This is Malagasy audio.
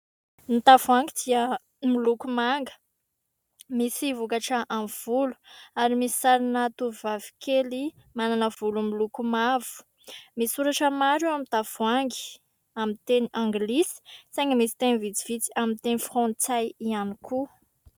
Ny tavoahangy dia miloko manga misy vokatra amin'ny volo ary misy sarina tovovavy kely manana volo miloko mavo. Misy soratra maro eo amin'ny tavoahangy, amin'ny teny anglisy saingy misy teny vitsivitsy amin'ny teny frantsay ihany koa.